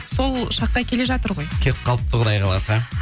сол шаққа келе жатыр ғой келіп қалыпты құдай қаласа